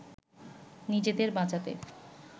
নিজেদের বাঁচাতে